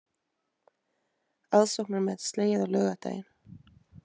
Aðsóknarmet slegið á laugardaginn